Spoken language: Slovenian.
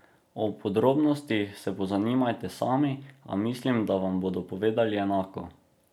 O podrobnostih se pozanimajte sami, a mislim, da vam bodo povedali enako.